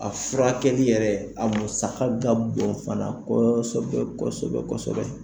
A furakɛkɛli yɛrɛ a musa ka bɔn fana kɔɔsɔbɛ kɔsɔbɛ.